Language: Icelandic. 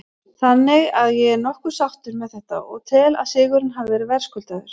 Þannig að ég er nokkuð sáttur með þetta og tel að sigurinn hafi verið verðskuldaður.